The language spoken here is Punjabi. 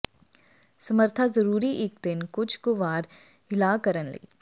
ਸਮਰੱਥਾ ਜ਼ਰੂਰੀ ਇੱਕ ਦਿਨ ਕੁਝ ਕੁ ਵਾਰ ਹਿਲਾ ਕਰਨ ਲਈ